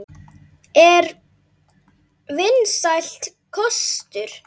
Er það vinsæll kostur?